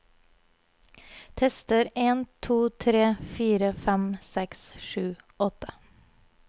Tester en to tre fire fem seks sju åtte